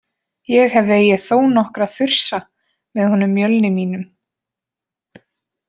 Ég hef vegið þó nokkra þursa með honum Mjölni mínum.